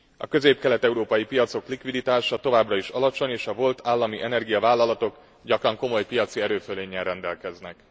A közép kelet európai piacok likviditása továbbra is alacsony, és a volt állami energiavállalatok gyakran komoly piaci erőfölénnyel rendelkeznek.